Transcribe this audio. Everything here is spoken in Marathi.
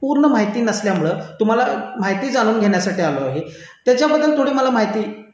पूर्ण माहिती नसल्यामुळे माहिती जाणून घेण्यासाठी आलोय त्याच्याबद्दल मला थोडी माहिती